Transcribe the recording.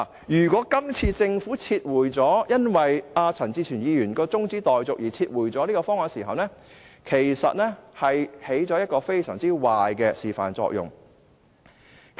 如果政府因為陳志全議員的中止待續議案而撤回現時的方案，便起了一個非常壞的示範作用。